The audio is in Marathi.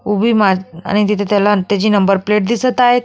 उभी मात आणि त्याची त्याला नंबर प्लेट दिसत आहेत.